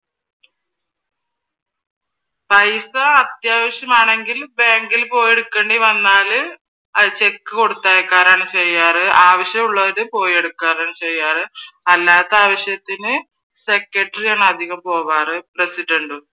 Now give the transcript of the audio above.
പൈസ അത്യാവശ്യം ആണെങ്കിൽ ബാങ്കിൽ പോയെടുക്കേണ്ടി വന്നാൽ അത് ചെക്ക് കൊടുത്തയക്കാറാണ് ചെയ്യാറ് ആവിശ്യം ഉള്ളവർ പോയെടുക്കാറാണ് ചെയ്യാറ് അല്ലാത്ത ആവിശ്യത്തിന് സെക്രട്ടറി ആണ് അതികം പോകാറ് പ്രസിഡന്റും